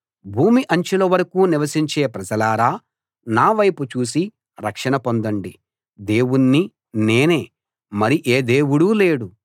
భూమి అంచుల వరకూ నివసించే ప్రజలారా నా వైపు చూసి రక్షణ పొందండి దేవుణ్ణి నేనే మరి ఏ దేవుడూ లేడు